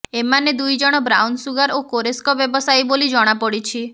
ଏମାନେ ଦୁଇଜଣ brown sugar ଓ କୋରେସ୍କ ବ୍ୟବସାୟୀ ବୋଲି ଜଣାପଡ଼ିଛି